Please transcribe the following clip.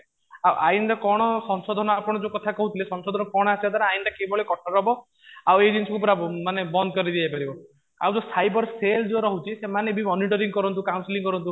ଆଇନ ରେ କଣ ସଂଶୋଧନ ଆପଣ ଯୋଉ କଥା କହୁଥିଲେ ସଂଶୋଧନ ରେ କଣ ଆସିବା ଦ୍ୱାରା ଆଇନଟା କିଭଳି କଠୋର ହବ? ଆଉ ଏଇ ଜିନିଷ କୁ ପୁରା ମାନେ ବନ୍ଦ କରିଦିଆଯାଇପାରିବ ଆଉ ଯୋଉ ସାଇବର cell ଯୋଉ ରହୁଛି ସେମାନେ ବି ମନିଟରିଂ କରନ୍ତୁ counselling କରନ୍ତୁ